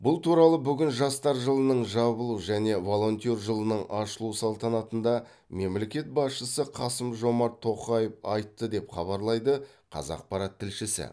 бұл туралы бүгін жастар жылының жабылу және волонтер жылының ашылу салтанатында мемлекет басшысы қасым жомарт тоқаев айтты деп хабарлайды қазақпарат тілшісі